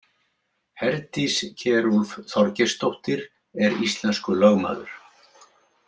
Herdís Kjerulf Þorgeirsdóttir er íslenskur lögmaður.